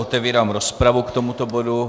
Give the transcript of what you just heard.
Otevírám rozpravu k tomuto bodu.